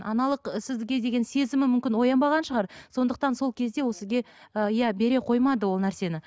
аналық ы сізге деген сезімі мүмкін оянбаған шығар сондықтан сол кезде ол сізге і иә бере қоймады ол нәрсені